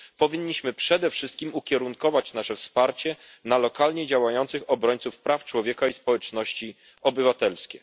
powinniśmy przede wszystkim ukierunkować nasze wsparcie na lokalnie działających obrońców praw człowieka i społeczeństwo obywatelskie.